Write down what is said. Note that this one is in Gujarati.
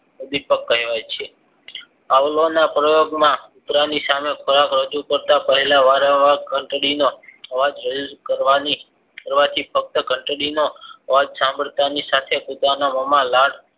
ઉદ્વિપક કહેવાય છે આવળાવના પ્રયોગમાં કૂતરાની સામે ખોરાક રજુ કરતા પહેલા વારંવાર ઘંટડીનો અવાજ કરવાની ફક્ત ઘંટડીના અવાજ સાંભરતા ની સાથે કુતરાના મોમાં લાળ